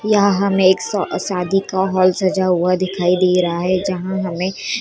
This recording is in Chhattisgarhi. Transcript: यहाँ हमें एक श शादी का हॉल सजा हुआ दिखाई दे रहा है जहाँ हमें --